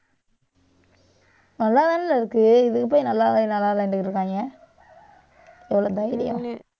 நல்லாதானேல இருக்கு. இதுக்கு போய், நல்லா இல்ல, நல்லா இல்லன்னுட்டு இருக்காங்க எவ்வளவு தைரியம்?